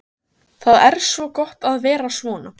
Það er svo gott að vera svona.